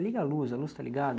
Liga a luz, a luz está ligada?